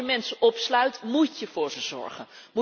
Als je mensen opsluit, moet je voor ze zorgen.